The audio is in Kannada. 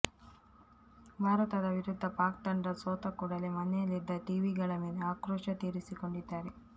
ಭಾರತದ ವಿರುದ್ಧ ಪಾಕ್ ತಂಡ ಸೋತ ಕೂಡಲೇ ಮನೆಯಲ್ಲಿದ್ದ ಟಿವಿಗಳ ಮೇಲೆ ಆಕ್ರೋಶ ತೀರಿಸಿಕೊಂಡಿದ್ದಾರೆ